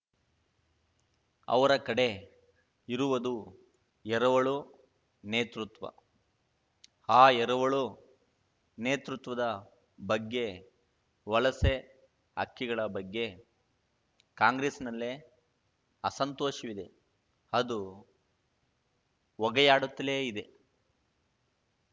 ಅವರ ಕಡೆ ಇರುವುದು ಎರವಳು ನೇತೃತ್ವ ಆ ಎರವಳು ನೇತೃತ್ವದ ಬಗ್ಗೆ ವಲಸೆ ಹಕ್ಕಿಗಳ ಬಗ್ಗೆ ಕಾಂಗ್ರೆಸ್ಸಿನಲ್ಲೇ ಅಸಂತೋಷವಿದೆ ಅದು ಹೊಗೆಯಾಡುತ್ತಲೇ ಇದೆ